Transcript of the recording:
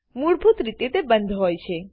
મૂળભૂત રીતે તે બંદ હોય છે